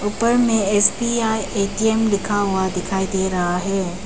ऊपर में ऐ_सी या ए_टी_एम लिखा हुआ दिखाई दे रहा है।